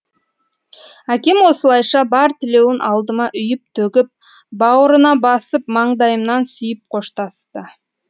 әкем осылайша бар тілеуін алдыма үйіп төгіп бауырына басып маңдайымнан сүйіп қоштасты